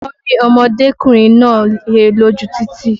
Wọ́n rí ọmọdékùnrin náà he lójú títì